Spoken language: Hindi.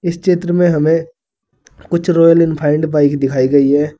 इस चित्र में हमें कुछ रॉयल एनफील्ड बाइक दिखाई गई है।